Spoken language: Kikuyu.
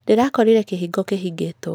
Ndĩrakorire kĩhingo kĩhingĩtwo.